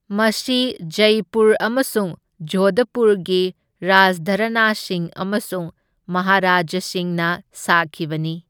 ꯃꯁꯤ ꯖꯩꯄꯨꯔ ꯑꯃꯁꯨꯡ ꯖꯣꯙꯄꯨꯔꯒꯤ ꯔꯥꯖꯘꯔꯥꯅꯥꯁꯤꯡ ꯑꯃꯁꯨꯡ ꯃꯍꯥꯔꯥꯖꯥꯁꯤꯡꯅ ꯁꯥꯈꯤꯕꯅꯤ꯫